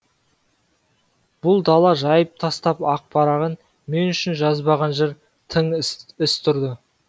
бұл дала жайып тастап ақ парағын мен үшін жазбаған жыр тың іс тұрды